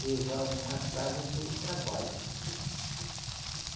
levavam, matavam para o trabalho.